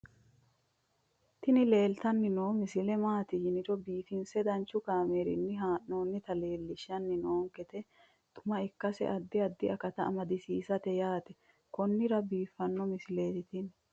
tini leeltanni noo misile maaati yiniro biifinse danchu kaamerinni haa'noonnita leellishshanni nonketi xuma ikkase addi addi akata amadaseeti yaate konnira biiffanno misileeti tini